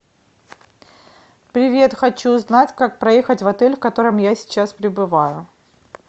привет хочу узнать как проехать в отель в котором я сейчас пребываю